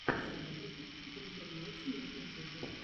заработок в интернете на ютюбе